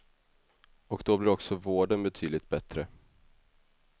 Och då blir också vården betydligt bättre.